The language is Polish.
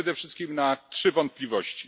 Przede wszystkim na trzy wątpliwości.